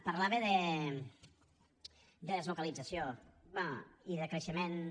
parlava de deslocalització i de creixements